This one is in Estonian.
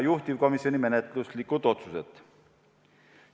Juhtivkomisjoni menetluslikud otsused olid sellised.